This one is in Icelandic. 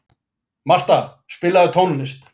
Marta, spilaðu tónlist.